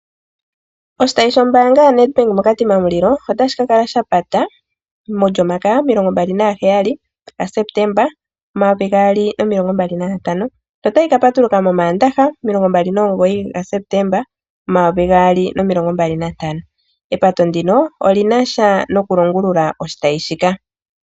Oshitayi shombaanga ya NedBank mo Katima Mulilo otashi ka kala sha pata mOlyomakaya yomilongo mbali naheyali ga Septemba omayovi gaali nomilongo mbali nantano notayi ka patuluka mOmaandaha omilongo mbali nomugoyi ga Septemba omayovi gaali nomilongo mbali nantano. Epato ndino olina sha nokulongulula oshitayi shika.